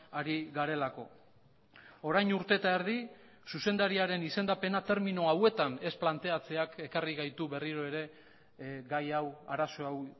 ari garelako orain urte eta erdi zuzendariaren izendapena termino hauetan ez planteatzeak ekarri gaitu berriro ere gai hau arazo hau